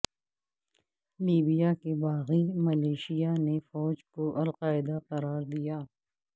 Libya کے باغی militia نے فوج کو القاعدہ قرار دیا